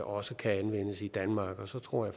også kan anvendes i danmark og så tror